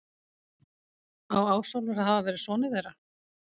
Á Ásólfur að hafa verið sonur þeirra.